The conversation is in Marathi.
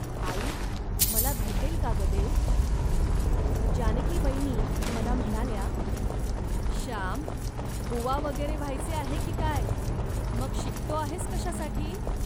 ."आई, मला भेटेल का, गं, देव. जानकीवयनी मला म्हणाल्या, "श्याम, बोवा वगैरे व्हायचे आहे की काय, मग शिकतो आहेस कशासाठी